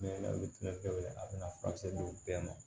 Ne bɛ wele a bɛna furakisɛ di u bɛɛ ma